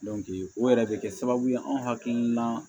o yɛrɛ de kɛ sababu ye anw hakili la